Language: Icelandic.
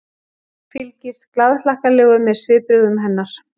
Fylgist glaðhlakkalegur með svipbrigðum hennar.